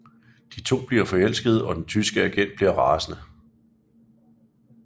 De to bliver forelskede og den tyske agent bliver rasende